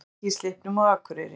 Vatnsleki í Slippnum á Akureyri